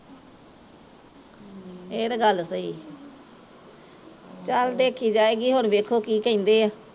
ਏਹ ਤੇ ਗੱਲ ਸਹੀ ਆ ਚੱਲ ਦੇਖੀ ਜਾਏਗੀ ਹੁਣ ਵੇਖੋ ਕੀ ਕਹਿੰਦੇ ਐ